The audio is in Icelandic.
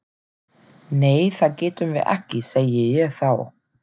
Nei það getum við ekki, segi ég þá.